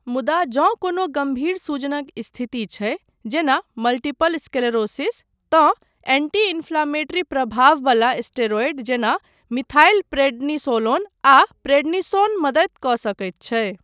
मुदा, जँ कोनो गम्भीर सूजनक स्थिति छै, जेना मल्टीपल स्क्लेरोसिस, तँ एंटी इंफ्लेमेटरी प्रभाववला स्टेरॉयड जेना, मिथाइलप्रेडनिसोलोन आ प्रेडनिसोन मदति कऽ सकैत छै।